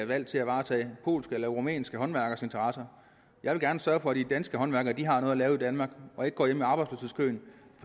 valgt til at varetage polske eller rumænske håndværkeres interesser jeg vil gerne sørge for at de danske håndværkere har noget at lave i danmark og ikke går hjemme